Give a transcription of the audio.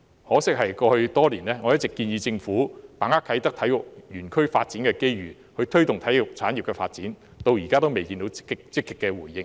我在過去多年一直建議政府把握啟德體育園區發展的機遇，推動體育產業發展，可惜至今仍然未得到積極回應。